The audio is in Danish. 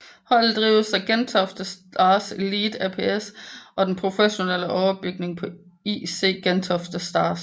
Holdet drives af Gentofte Stars Elite ApS og er den professionelle overbygning på IC Gentofte Stars